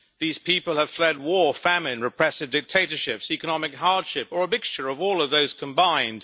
These people have fled war, famine, repressive dictatorships, economic hardship or a mixture of all of those combined.